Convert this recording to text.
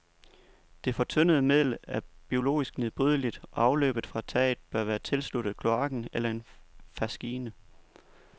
Det fortyndede middel er biologisk nedbrydeligt og afløbet fra taget bør være tilsluttet kloakken eller en faskine.